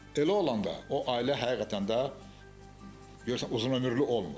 Elə olanda o ailə həqiqətən də görürsən uzunömürlü olmur.